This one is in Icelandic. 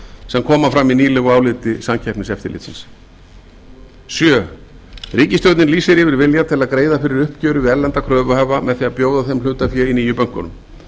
sem koma fram í nýlegu áliti samkeppniseftirlitsins sjöunda ríkisstjórnin lýsir yfir vilja til að greiða fyrir uppgjöri við erlenda kröfuhafa með því að bjóða þeim hlutafé í nýju bönkunum